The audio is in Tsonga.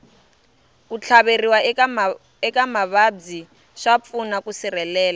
ku tlhaveriwa eka mavabyi swa pfuna ku sirhelela